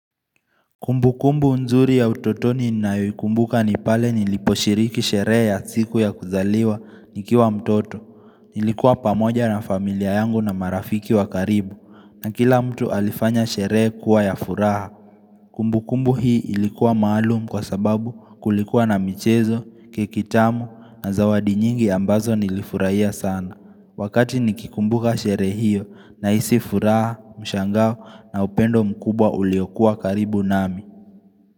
Kumbu kumbu nzuri ya utotoni nayoikumbuka ni pale niliposhiriki sherehe ya siku ya kuzaliwa nikiwa mtoto. Nilikuwa pamoja na familia yangu na marafiki wa karibu na kila mtu alifanya sherehe kuwa ya furaha. Kumbu kumbu hii ilikuwa maalum kwa sababu kulikuwa na michezo, keki tamu na zawadi nyingi ambazo nilifurahia sana. Wakati nikikumbuka sherehe hiyo nahisi furaha, mshangao na upendo mkubwa uliokuwa karibu nami.